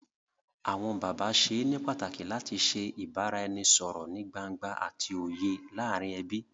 Awọn bàbá ṣe ní pàtàkì làti ṣe ibaraẹnisọrọ nìí gbángba àti òye láàrin ẹbí.